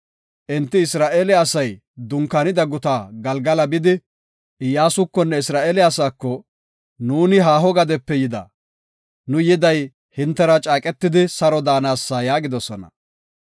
Enti Isra7eele asay dunkaanida guta Galgala bidi, Iyyasukonne Isra7eele asaako, “Nuuni haaho gadepe yida. Nu yiday hintera caaqetidi saro daanasa” yaagidosona.